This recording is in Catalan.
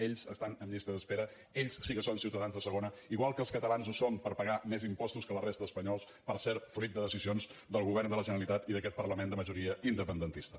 ells estan en llistes d’espera ells sí que són ciutadans de segona igual que els catalans ho som per pagar més impostos que la resta d’espanyols per cert fruit de decisions del govern de la generalitat i d’aquest parlament de majoria independentista